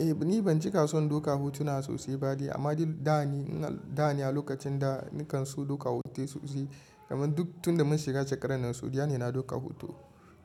Eh, ni ban cika son daukar hotuna sosai ba de, amma dai da ne, da ne a lokacin da nakan so daukar hoto sosai. Amman duk tunda mun shiga shekarar nan sau ɗaya ne na dauka hoto.